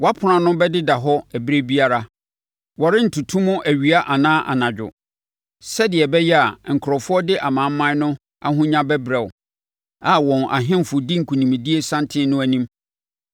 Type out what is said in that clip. Wʼapono ano bɛdeda hɔ ɛberɛ biara, wɔrentoto mu awia anaa anadwo, sɛdeɛ ɛbɛyɛ a nkurɔfoɔ de amanaman no ahonya bɛbrɛ wo, a wɔn ahemfo di nkonimdie santen no anim.